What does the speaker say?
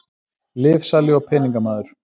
Lyfsali og peningamaður.